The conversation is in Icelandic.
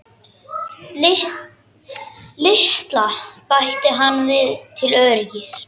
LITLA, bætti hann við til öryggis.